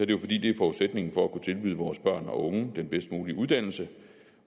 jo fordi det er forudsætningen for at kunne tilbyde vores børn og unge den bedst mulige uddannelse